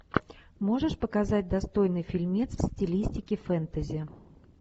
можешь показать достойный фильмец в стилистике фэнтези